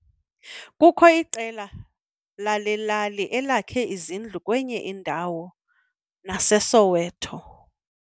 Kukho iqela lale lali elakhe izindlu kwenye indawo naseSoweto.